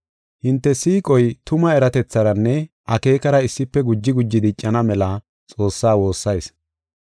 Hinte siiqoy tuma eratetharanne akeekara issife guji guji diccana mela Xoossaa woossayis.